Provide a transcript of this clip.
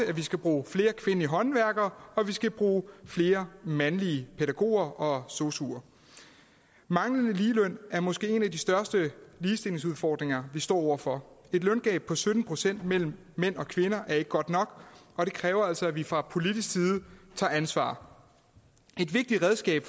at vi skal bruge flere kvindelige håndværkere og at vi skal bruge flere mandlige pædagoger og sosuer manglende ligeløn er måske en af de største ligestillingsudfordringer vi står over for et løngab på sytten procent mellem mænd og kvinder er ikke godt nok og det kræver altså at vi fra politisk side tager ansvar et vigtigt redskab